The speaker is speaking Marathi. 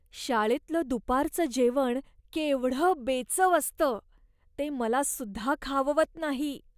शाळेतलं दुपारचं जेवण केवढं बेचव असतं, ते मलासुद्धा खाववत नाही.